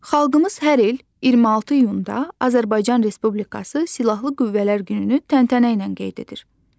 Xalqımız hər il 26 iyunda Azərbaycan Respublikası Silahlı Qüvvələr gününü təntənə ilə qeyd edir.